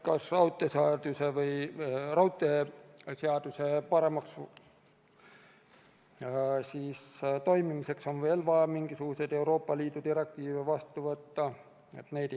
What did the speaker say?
Kas raudteeseaduse paremaks toimimiseks on veel vaja mingisuguseid Euroopa Liidu direktiive vastu võtta?